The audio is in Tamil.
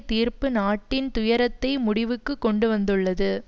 தீர்ப்பு நாட்டின் துயரத்தை முடிவுக்கு கொண்டு வந்துள்ளது